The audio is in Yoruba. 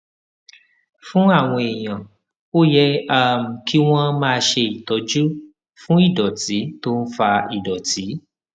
fún àwọn èèyàn ó yẹ um kí wón máa ṣe ìtọjú fún ìdòtí tó ń fa ìdòtí